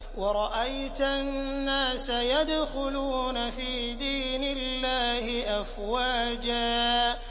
وَرَأَيْتَ النَّاسَ يَدْخُلُونَ فِي دِينِ اللَّهِ أَفْوَاجًا